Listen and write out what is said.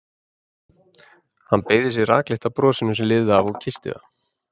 Hann beygði sig rakleitt að brosinu sem lifði af og kyssti það.